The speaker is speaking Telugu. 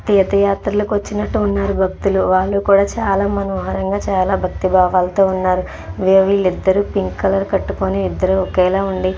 తీర్థయాత్రలకు వచ్చినట్టు ఉన్నారు భక్తులు వాళ్లు కూడా చాలా మనోహరంగా చాలా భక్తి భావంతో ఉన్నారు వీళ్లిద్దరూ పింక్ కలర్ కట్టుకొని ఇద్దరు ఒకేలా ఉండి.